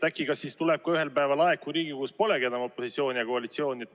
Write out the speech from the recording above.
Kas siis äkki ühel päeval tuleb ka aeg, kui Riigikogus polegi enam opositsiooni ja koalitsiooni?